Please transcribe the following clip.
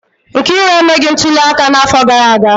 Nkiru emeghị ntuli aka n'afọ gara aga